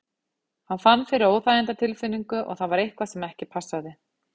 Hann fann fyrir óþægindatilfinningu og það var eitthvað sem ekki passaði.